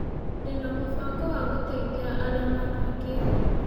Ndĩna mũbango wa gũteĩthĩa arĩa matangĩĩhota.